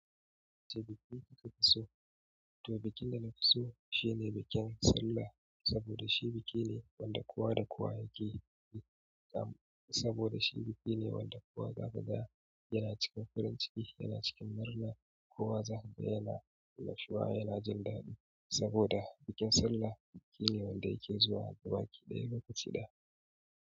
Ce biki kika fi so, to bikin da na fi so shine bikin Sallah, saboda shi biki ne wanda kowa da kowa yake yi kam, saboda shi biki ne wanda kowa gaba ga yana cikin farin ciki, yana cikin murna, kowa zahiri yana annashuwa, yana jin daɗi. Saboda bikin Sallah biki ne wanda yake zuwa gaba ki ɗaya, lokaci ɗaya.